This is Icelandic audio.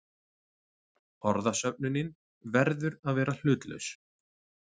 Orðasöfnunin verður að vera hlutlaus.